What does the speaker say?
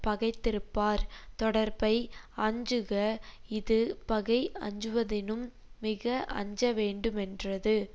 பகைத்திருப்பார் தொடர்பை அஞ்சுக இது பகை அஞ்சுவதினும் மிக அஞ்சவேண்டுமென்றது